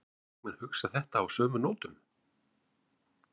Vilja þingmenn hugsa þetta á sömu nótum?